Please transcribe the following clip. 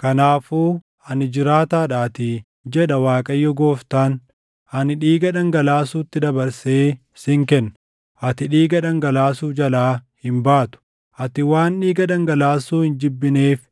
kanaafuu ani jiraataadhaatii, jedha Waaqayyo Gooftaan; ani dhiiga dhangalaasuutti dabarsee sin kenna; ati dhiiga dhangalaasuu jalaa hin baatu. Ati waan dhiiga dhangalaasuu hin jibbineef